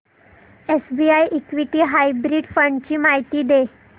SBI equity hybrid fund ची माहिती दे